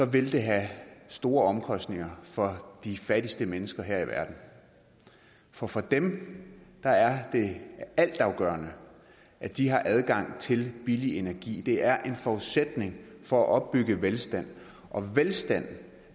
vil det have store omkostninger for de fattigste mennesker her i verden for for dem er er det altafgørende at de har adgang til billig energi det er en forudsætning for at opbygge velstand og velstand